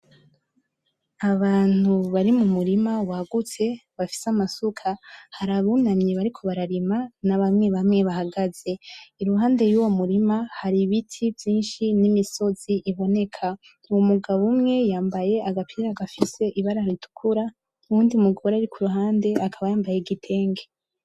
Abantu bari mu murima wagutse, bafise amasuka, hari abunamye bariko bararima na bamwe bamwe bahagaze. Iruhande yuwo murima, hari ibiti vyinshi n’imisozi iboneka. Umugabo umwe yambaye agapira gafise ibara ritukura, uwundi mugore ari kuruhande akaba yambaye igitenge.